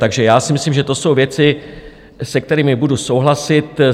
Takže já si myslím, že to jsou věci, se kterými budu souhlasit.